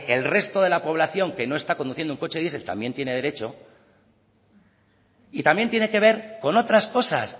el resto de la población que no está conduciendo un coche diesel también tiene derecho y también tiene que ver con otras cosas